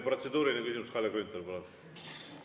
Protseduuriline küsimus, Kalle Grünthal, palun!